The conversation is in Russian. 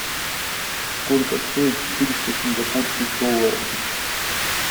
сколько стоит четыреста сингапурских долларов